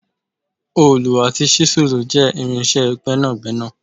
oolu ati ṣisulu je irinṣẹ gbénàgbénà